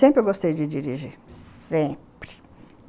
Sempre eu gostei de dirigir, sempre.